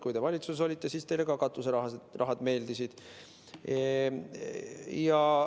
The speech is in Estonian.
Kui te valitsuses olite, siis teile ka katuseraha meeldis.